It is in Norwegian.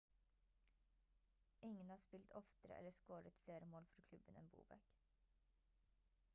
ingen har spilt oftere eller scoret flere mål for klubben enn bobek